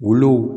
Olu